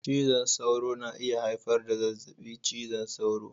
Cizon sauro na iya haifar da zazzabin cizon sauro.